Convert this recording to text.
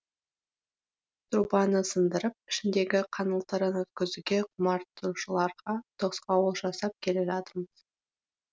трубаны сындырып ішіндегі қаңылтырын өткізуге құмартушыларға тосқауыл жасап келе жатырмыз